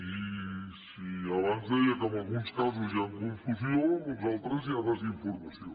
i si abans deia que en alguns casos hi ha confusió en uns altres hi ha desinformació